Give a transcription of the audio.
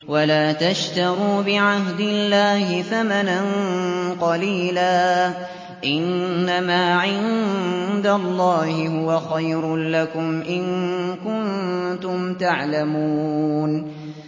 وَلَا تَشْتَرُوا بِعَهْدِ اللَّهِ ثَمَنًا قَلِيلًا ۚ إِنَّمَا عِندَ اللَّهِ هُوَ خَيْرٌ لَّكُمْ إِن كُنتُمْ تَعْلَمُونَ